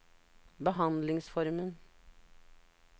behandlingsformen